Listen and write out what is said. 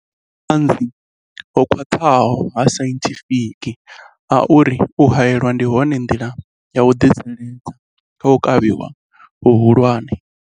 Hu na vhuṱanzi ho khwaṱhaho ha sainthifiki ha uri u haelwa ndi yone nḓila ya u ḓitsireledza kha u kavhiwa hu hulwane.